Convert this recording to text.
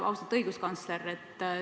Austatud õiguskantsler!